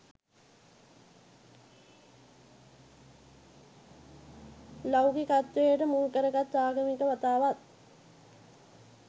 ලෞකිකත්වයට මුල්කරගත් ආගමික වතාවත්